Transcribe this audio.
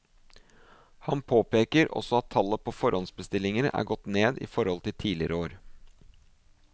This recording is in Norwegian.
Han påpeker også at tallet på forhåndsbestillinger er gått ned i forhold til tidligere år.